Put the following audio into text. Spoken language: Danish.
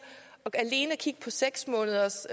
at alene at kigge på seks måneders